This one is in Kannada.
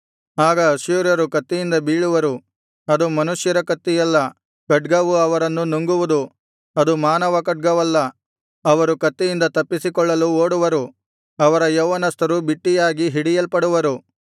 ಆಗ ಅಶ್ಶೂರ್ಯರು ಕತ್ತಿಯಿಂದ ಬೀಳುವರು ಅದು ಮನುಷ್ಯರ ಕತ್ತಿಯಲ್ಲ ಖಡ್ಗವು ಅವರನ್ನು ನುಂಗುವುದು ಅದು ಮಾನವ ಖಡ್ಗವಲ್ಲ ಅವರು ಕತ್ತಿಯಿಂದ ತಪ್ಪಿಸಿಕೊಳ್ಳಲು ಓಡುವರು ಅವರ ಯೌವನಸ್ಥರು ಬಿಟ್ಟಿಯಾಗಿ ಹಿಡಿಯಲ್ಪಡುವರು